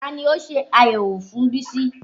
Ta ni ó ṣe àyẹ̀wò fún Bísí?